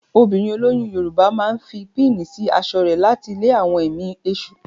Obìnrin olóyún Yorùbá máa fi píìnì sí aṣọ rẹ̀ láti lé àwọn ẹ̀mí èṣù.